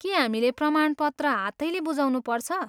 के हामीले प्रमाणपत्र हातैले बुझाउनुपर्छ?